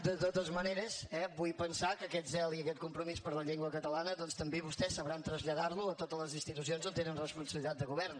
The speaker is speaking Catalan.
de totes maneres eh vull pensar que aquest zel i aquest compromís per la llengua catalana doncs també vostès sabran traslladar los a totes les institucions on tenen responsabilitat de govern